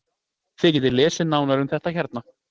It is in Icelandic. Þið getið lesið nánar um þetta hérna.